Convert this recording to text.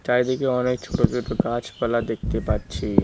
চারিদিকে অনেক ছোট ছোট গাছপালা দেখতে পাচ্ছি।